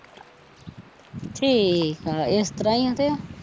ਠੀਕ ਆ ਇਸ ਤਰਾ ਈ ਆ ਤੇ